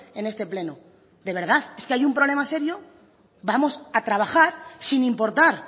en este pleno de verdad es que hay un problema serio vamos a trabajar sin importar